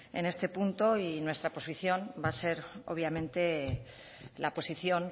en este punto y nuestra posición va a ser obviamente la posición